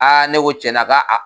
ne ko cɛna k'a a